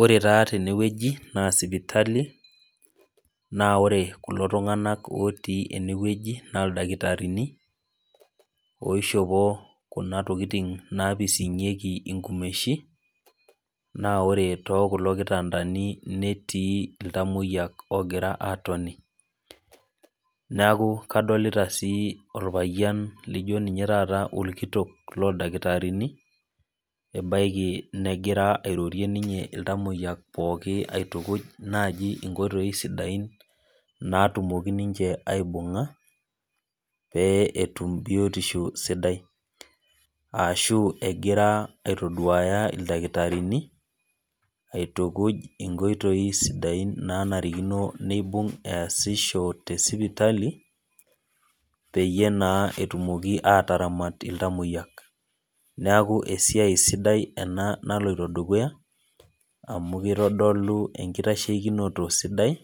Ore taa tene wueji naa sipitali, naa ore kulo tung'anak otii ene wueji naa ildakitarini oishopo naa kuna tokitin naipising'ieki inkumeshi, naa ore too kulo kitaandani netii iltamwoiya, ogira aatoni. Neaku adolita sii taata olpayian naa kajo ninye taata olkitok loo ildakitarini, ebaiki negira ninye airorie iltamwoiya pookin aitukuj naaji inkoitoi sidain natumoki ninche aibung'a, pee etum biotisho sidai. Aashu egira ninye aitaduaya ildakitarini aitukuj inkoitoi sidain naanarikino neibung' easisho te sipitali, peyie naa etumoki ataramat iltamwoiyak. Neaku esia sidai ena aloito dukuya, amu keitodolu enkitasheikinoto sidai ,